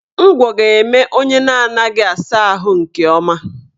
Ngwọ ga-eme onye na-anaghị asa ahụ nke ọma